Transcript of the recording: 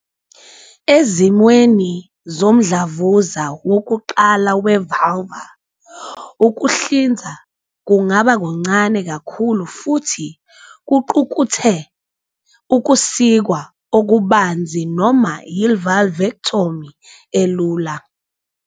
Ezimweni zomdlavuza wokuqala we-vulvar, ukuhlinzwa kungaba kuncane kakhulu futhi kuqukethe ukusikwa okubanzi noma i-vulvectomy elula.